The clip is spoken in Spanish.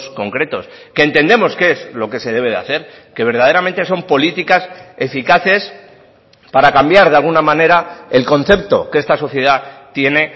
concretos que entendemos que es lo que se debe de hacer que verdaderamente son políticas eficaces para cambiar de alguna manera el concepto que esta sociedad tiene